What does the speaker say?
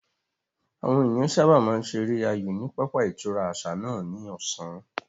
Àwọn ènìyàn sáábà máa ń ṣeré aayò ní pápá ìtura àṣà náà ní ọ̀sán